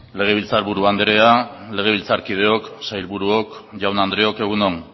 legebiltzar buru andrea legebiltzarkideok sailburuok jaun andreok egun on